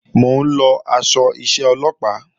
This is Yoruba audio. Mò ń lọ aṣọ iṣẹ́ Ọlọ́pàá